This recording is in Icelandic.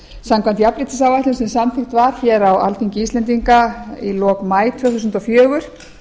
samkvæmt jafnréttisáætlun sem samþykkt var á alþingi íslendinga í lok maí tvö þúsund og fjögur